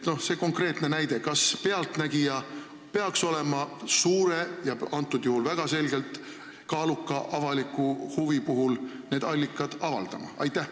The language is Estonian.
Nii et see konkreetne näide: kas "Pealtnägija" peaks praeguse väga selgelt kaaluka avaliku huvi korral need allikad avaldama?